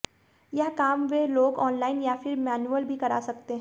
यह काम वे लोग ऑनलाइन या फिर मैन्यूअल भी करा सकते हैं